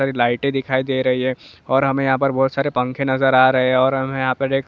light दिखाई दे रही है और हमें यहां पर बहुत सारे पंखे नजर आ रही है और हमें यहां पर एक--